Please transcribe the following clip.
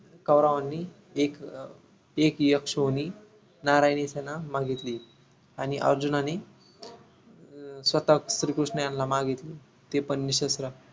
कौरवांनी एक अं एक यक्षयोनी नारायणी सेने मागितली आणि अर्जुनांनी अं स्वतः श्री कृष्ण यांना मागितली ते पण निशस्त्र